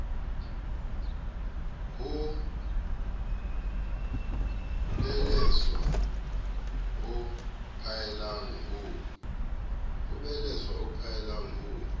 ho beleswa ho phaellang ho